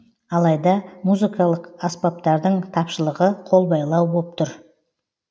алайда музыкалық аспаптардың тапшылығы қолбайлау боп тұр